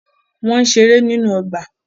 Wọ́n ń ṣeré nínú ọgbà.